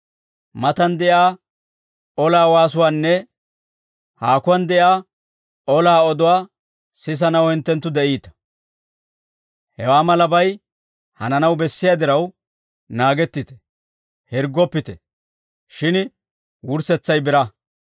Matan de'iyaa olaa waasuwaanne haakuwaan de'iyaa olaa oduwaa sisanaw hinttenttu de'iita; hewaa malabay hananaw bessiyaa diraw, naagettite; hirggoppite; shin wurssetsay biraa.